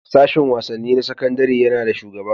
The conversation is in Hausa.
Sashin wasanni na sakandare yana da shugaba.